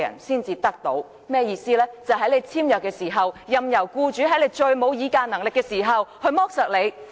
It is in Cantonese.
便是在僱員與僱主簽約時，任由僱主在僱員最沒有議價能力時剝削他們。